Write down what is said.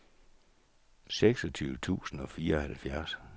seksogtyve tusind og fireoghalvfjerds